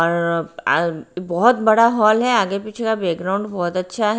और अ बहुत बड़ा हॉल है आगे पीछे का बैकग्राउंड बहुत अच्छा है।